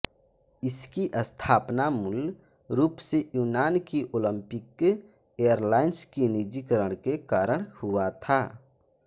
इसकी स्थापना मूल रूप से यूनान की ओलिंपिक एरलाइन्स की निजीकरण के कारण हुआ था